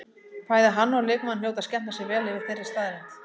Bæði hann og leikmaðurinn hljóta að skemmta sér vel yfir þeirri staðreynd.